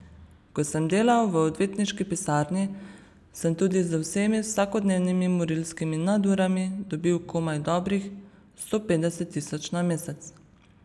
Ko sem delal v odvetniški pisarni, sem tudi z vsemi vsakodnevnimi morilskimi nadurami dobil komaj dobrih sto petdeset tisoč na mesec.